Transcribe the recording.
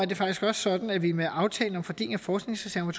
det faktisk også sådan at vi med aftalen om en fordeling af forskningsreserven